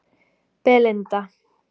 Belinda